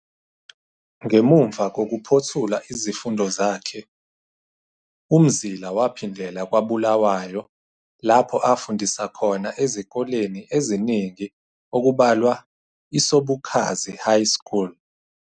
Ngemuva kokuphothula izifundo zakhe, uMzila waphindela kwaBulawayo lapho afundisa khona ezikoleni eziningi okubalwa iSobukhazi High School.